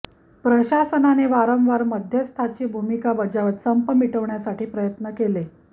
प्रशासनाने वारंवार मध्यस्थाची भूमिका बजावत संप मिटविण्यासाठी प्रयत्न केले